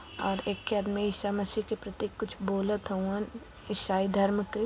और एके आदमी ईसा मसीह के प्रति कुछ बोलत हवं ईसाई धर्म के --